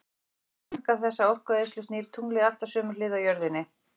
Til þess að lágmarka þessa orkueyðslu snýr tunglið alltaf sömu hlið að jörðinni.